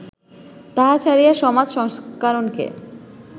তাহা ছাড়িয়া, সমাজ সংস্করণকে